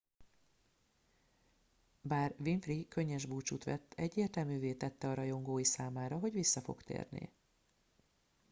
bár winfrey könnyes búcsút vett egyértelművé tette a rajongói számára hogy vissza fog térni